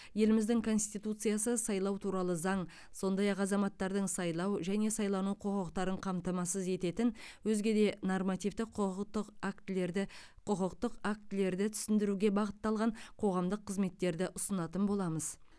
еліміздің конституциясы сайлау туралы заң сондай ақ азаматтардың сайлау және сайлану құқықтарын қамтамасыз ететін өзге де нормативтік құқықтық актілерді құқықтық актілерді түсіндіруге бағытталған қоғамдық қызметтерді ұсынатын боламыз